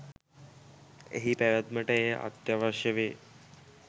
එහි පැවැත්මට එය අත්‍යවශ්‍ය වේ